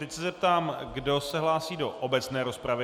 Teď se zeptám, kdo se hlásí do obecné rozpravy.